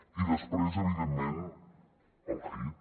i després evidentment el hit